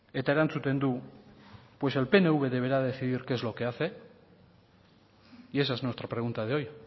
eta erantzuten du pues el pnv deberá decidir qué es lo que hace y esa es nuestra pregunta de hoy